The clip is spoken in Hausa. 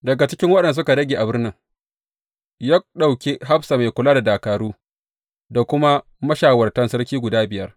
Daga cikin waɗanda suka rage a birnin, ya ɗauki hafsa mai kula da dakaru, da kuma mashawartan sarki guda biyar.